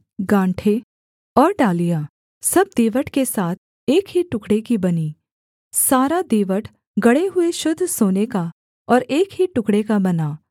गाँठें और डालियाँ सब दीवट के साथ एक ही टुकड़े की बनीं सारा दीवट गढ़े हुए शुद्ध सोने का और एक ही टुकड़े का बना